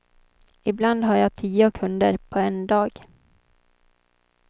Ibland har jag tio kunder på en dag.